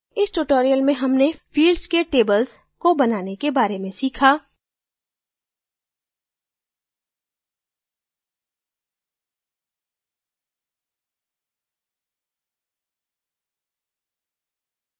इस tutorial में हमने fields के tables को बनाने के बारे में सीखा